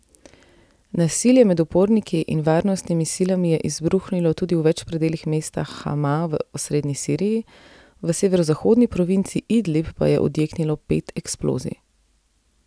Nasilje med uporniki in varnostnimi silami je izbruhnilo tudi v več predelih mesta Hama v osrednji Siriji, v severozahodni provinci Idlib pa je odjeknilo pet eksplozij.